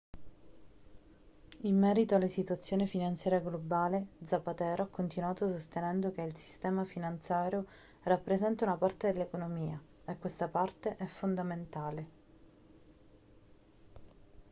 in merito alla situazione finanziaria globale zapatero ha continuato sostenendo che il sistema finanziario rappresenta una parte dell'economia e questa parte è fondamentale